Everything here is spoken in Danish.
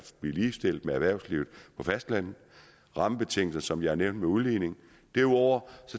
blive ligestillet med erhvervslivet på fastlandet rammebetingelser som jeg har nævnt med udligning derudover